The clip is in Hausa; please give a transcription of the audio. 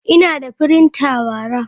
Ina da printer bara.